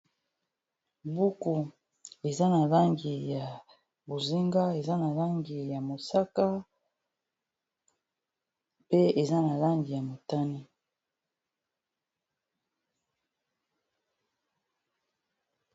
buku eza na langi ya bozinga eza na langi ya mosaka pe eza na langi ya motani